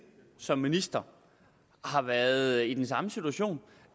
som minister har været i den samme situation